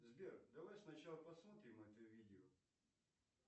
сбер давай сначала посмотрим это видео